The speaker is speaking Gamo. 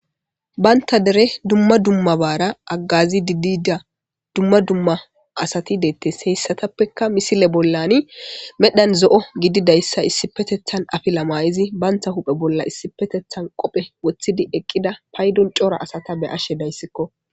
Banththa deree dumma dummabaara haggaaziiddi diida dumma dumma asathi deeththes; heyssathappekka misile bollaani medgan zo7o gidida issa etha issippethe ththan afila maayidi banththa huuphe issippetheththan qophe woththidi eqqida paydon cora asatha be7ashe daysikkoo.